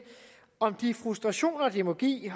om de frustrationer det må give